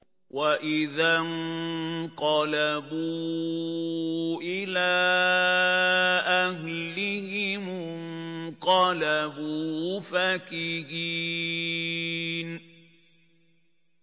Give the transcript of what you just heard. وَإِذَا انقَلَبُوا إِلَىٰ أَهْلِهِمُ انقَلَبُوا فَكِهِينَ